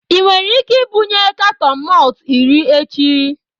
Ị nwere ike ibunye katọn malt iri echi?